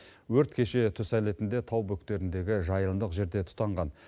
өрт кеше түс әлетінде тау бөктеріндегі жайылымдық жерден тұтанған